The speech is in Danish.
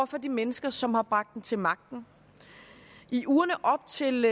for de mennesker som har bragt den til magten i ugerne op til